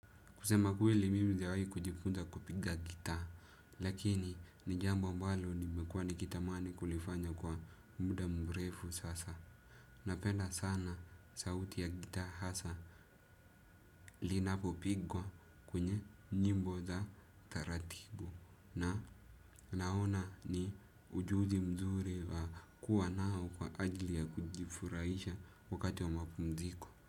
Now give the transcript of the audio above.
Kusema kweli mimi sijawahi kujifunza kupiga gitaa, lakini ni jambo mbalo nimekuwa nikitamani kulifanya kwa muda mrefu sasa. Napenda sana sauti ya gitaa hasa linapo pigwa kwenye nyimbo za taratibu. Na naona ni ujuzi mzuri wa kuwa nao kwa ajili ya kujifurahisha wakati wa mapumziko.